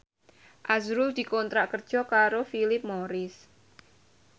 azrul dikontrak kerja karo Philip Morris